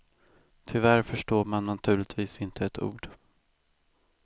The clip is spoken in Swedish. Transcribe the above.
Tyvärr förstår man naturligtvis inte ett ord.